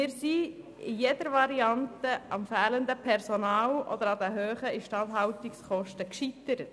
Wir sind bei jeder Variante beim fehlenden Personal oder bei den hohen Instandhaltungskosten gescheitert.